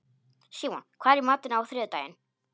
Símon, hvað er í matinn á þriðjudaginn?